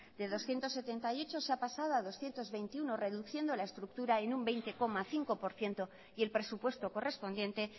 de doscientos setenta y ocho se ha pasado a doscientos veintiuno reduciendo la estructura en un veinte coma cinco por ciento y el presupuesto correspondiente